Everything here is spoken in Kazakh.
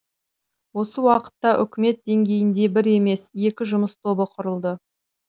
осы уақытта үкімет деңгейінде бір емес екі жұмыс тобы құрылды